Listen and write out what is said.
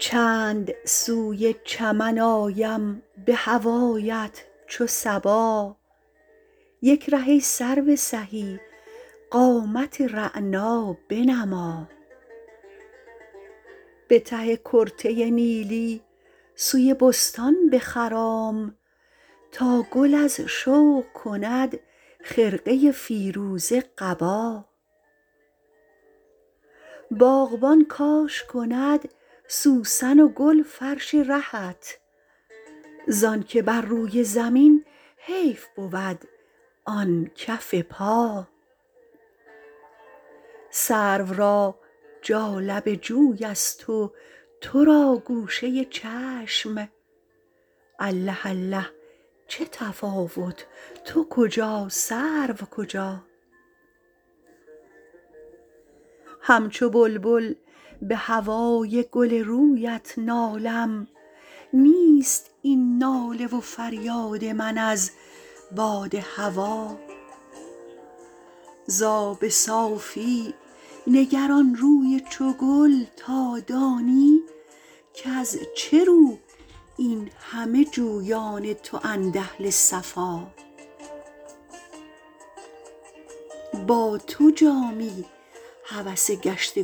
چند سوی چمن آیم به هوایت چو صبا یک ره ای سرو سهی قامت رعنا بنما به ته کرته نیلی سوی بستان بخرام تا گل از شوق کند خرقه فیروزه قبا باغبان کاش کند سوسن و گل فرش رهت زانکه بر روی زمین حیف بود آن کف پا سرو را جالب جوی است و تو را گوشه چشم الله الله چه تفاوت تو کجا سرو کجا همچو بلبل به هوای گل رویت نالم نیست این ناله و فریاد من از باد هوا زآب صافی نگر آن روی چو گل تا دانی کز چه رو این همه جویان تواند اهل صفا با تو جامی هوس گشت